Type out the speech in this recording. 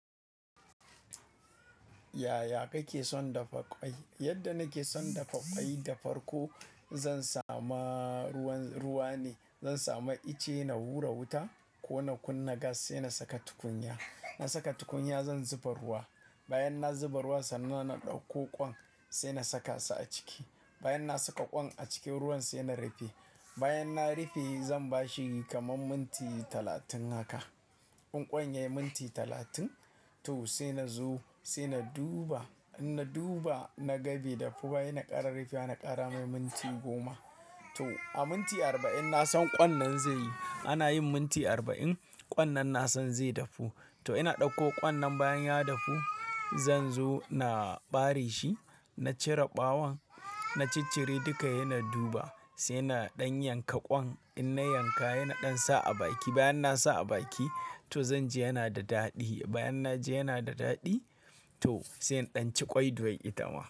Yaya kake son dafa kwai? Yadda nake son dafa kwai da farko zan sama ruwan, ruwa ne. Zan samu ice na hura wuta ko na kunna gas sai na saka tukunya. Na saka tukunya zan zuba ruwa. Bayan na zuba ruwa sannan na ɗauko ƙwan sai na sakasu a ciki. Bayan na saka ƙwan a cikin ruwan sai na rufe. Bayan na rufe zan bashi kamar minti talatin haka. In ƙwan yayi minti talatin to sai na zo sai na duba. In na duba na ga bai dafu ba, ina ƙara rufe ana ƙara mai minti goma. To a minti arba'in na san ƙwan nan zai, ana yin minti arba'in ƙwan nan na san zai dafu. To ina ɗauko ƙwan nan bayan ya dafu zan zo na ɓare shi na cire ɓawon. Na ciccire duka yana duba sai na ɗan yanka ƙwan. In na yanka yana ɗan sa a baki. Bayan na sa a baki to zanji yana da daɗi. Bayan na je yana da daɗi to sai in ɗanci ƙwai doin itama.